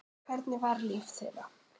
Hvernig var líf þeirra?